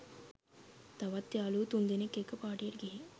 තවත් යාළුවෝ තුන්දෙනෙක්‌ එක්‌ක පාටියකට ගිහින්